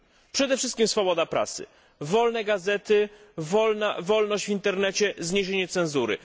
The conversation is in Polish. Przede wszystkim swoboda prasy, wolne gazety, wolność w internecie, zniesienie cenzury.